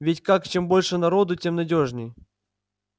ведь как чем больше народу тем надёжней